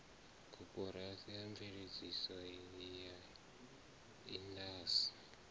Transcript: koporasi ya mveledzo ya indasi